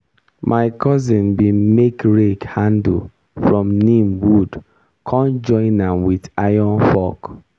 my cousin bin make rake handle from neem wood con join am with iron fork.